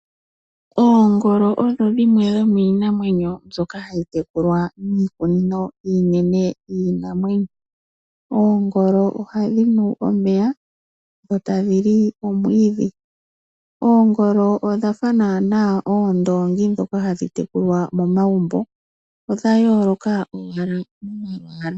Oongolo odho dhimwe dhomiinamwenyo mbyoka ha yi tekulwa miikunino iinene yiinamwenyo, oongolo oha dhi nu omeya dho tadhi li omwiidhi. Oongolo odha fa naana oondoongi dhoka hadhi tekulwa momagumbo, odha yooloka owala momalwaala.